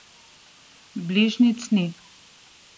Bližnjic ni.